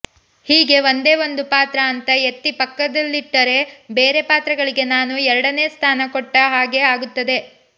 ಹೀಗೆ ಒಂದೇ ಒಂದು ಪಾತ್ರ ಅಂತ ಎತ್ತಿ ಪಕ್ಕದಲ್ಲಿಟ್ಟರೆ ಬೇರೆ ಪಾತ್ರಗಳಿಗೆ ನಾನು ಎರಡನೇ ಸ್ಥಾನ ಕೊಟ್ಟ ಹಾಗೇ ಆಗುತ್ತದೆ